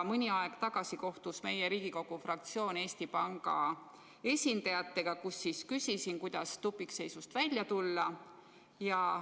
Mõni aeg tagasi kohtus meie Riigikogu fraktsioon Eesti Panga esindajatega ja ma küsisin, kuidas tupikseisust välja tulla.